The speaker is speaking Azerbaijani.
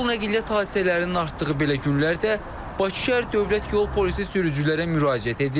Yol nəqliyyat hadisələrinin artdığı belə günlərdə Bakı Şəhər Dövlət Yol Polisi sürücülərə müraciət edir.